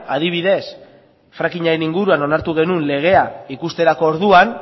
adibidez frackingaren inguruan onartu genuen legea ikusterako orduan